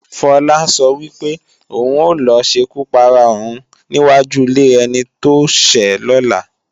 Fọlá sọ wípé, òun ò lọ ṣekú para òun ní wáju ilé ẹni tóṣẹ́ lọ́la